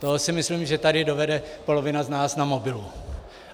To si myslím, že tady dovede polovina z nás na mobilu.